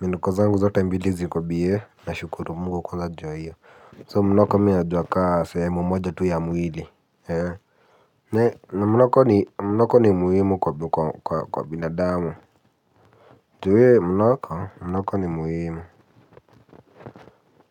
Minuko zangu zote mbili ziko bie nashukuru mungu kwanza juu hiyo. So mnoko mi najua kaa sehemu moja tu ya mwili. Na mnoko ni mnoko ni muhimu kwa binadamu juwe mnoko mnoko ni muhimu.